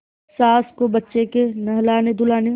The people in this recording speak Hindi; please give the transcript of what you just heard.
सास को बच्चे के नहलानेधुलाने